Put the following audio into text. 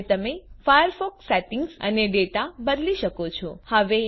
હવે તમે Firefox settings અને ડેટા બદલી શકો છો